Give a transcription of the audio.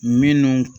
Minnu